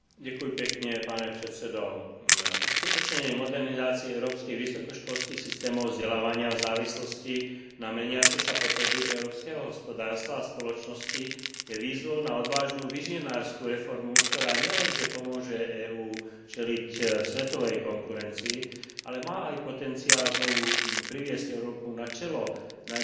Uskutočnenie modernizácie európskych vysokoškolských systémov vzdelávania v závislosti na meniace sa potreby európskeho hospodárstva a spoločnosti je výzvou na odvážnu vizionársku reformu, ktorá nielenže pomôže EÚ čeliť svetovej konkurencii, ale má aj potenciál znovu priviesť Európu na čelo najdynamickejších ekonomík sveta.